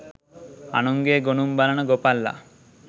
අනුන්ගේ ගොනුන් බලන ගොපල්ලා